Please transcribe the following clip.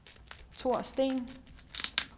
Thor Steen